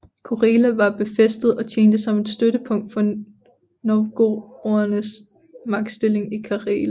Korela var befæstet og tjente som et støttepunkt for novgorodernes magtstilling i Karelen